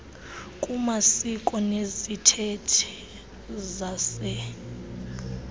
kumasiko nezithethe zase